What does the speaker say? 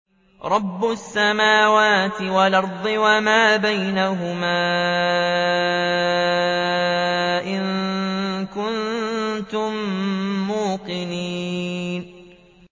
رَبِّ السَّمَاوَاتِ وَالْأَرْضِ وَمَا بَيْنَهُمَا ۖ إِن كُنتُم مُّوقِنِينَ